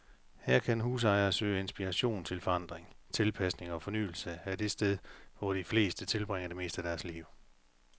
Her kan husejere søge inspiration til forandring, tilpasning og fornyelse af det sted, hvor de fleste tilbringer det meste af deres liv.